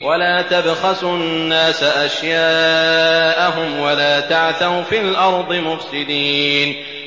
وَلَا تَبْخَسُوا النَّاسَ أَشْيَاءَهُمْ وَلَا تَعْثَوْا فِي الْأَرْضِ مُفْسِدِينَ